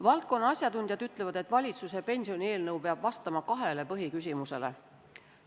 Valdkonna asjatundjad ütlevad, et valitsuse pensionieelnõu peab vastama kahele põhiküsimusele.